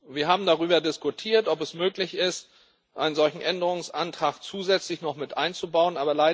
Wir haben darüber diskutiert, ob es möglich ist, einen solchen Änderungsantrag zusätzlich noch mit einzubauen.